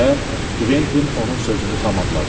deyə Kventin onun sözünü tamamladı.